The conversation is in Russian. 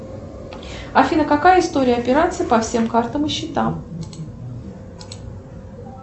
афина какая история операций по всем картам и счетам